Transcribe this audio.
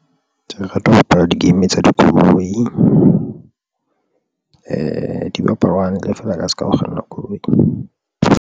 Ke rata ho bapala di game tsa dikoloi do bapalwa hantle feela ka se ka ha o kganna koloi.